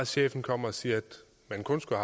chefen kommer og siger at man kun skulle